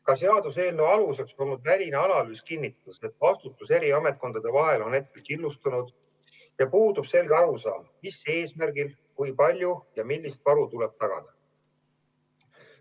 Ka seaduseelnõu aluseks olnud väline analüüs kinnitas, et vastutus eri ametkondade vahel on killustunud ja puudub selge arusaam, mis eesmärgil, kui palju ja millist varu tuleb tagada.